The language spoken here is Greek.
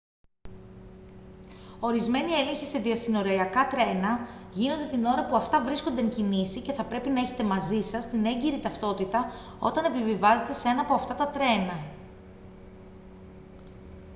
ορισμένοι έλεγχοι σε διασυνοριακά τρένα γίνονται την ώρα που αυτά βρίσκονται εν κινήσει και θα πρέπει να έχετε μαζί σας έγκυρη ταυτότητα όταν επιβιβάζεστε σε ένα από αυτά τα τρένα